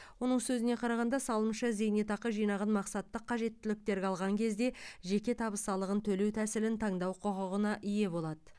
оның сөзіне қарағанда салымшы зейнетақы жинағын мақсатты қажеттіліктерге алған кезде жеке табыс салығын төлеу тәсілін таңдау құқығына ие болады